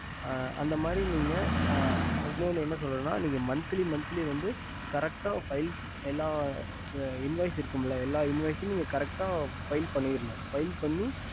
அந்தமாரி நீக்க இன்னொன்னு என்ன சொல்றதுன்னா monthly monthly invioce correct file அனுப்புனும்